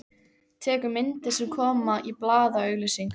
Tekur myndir sem koma í blaðaauglýsingum.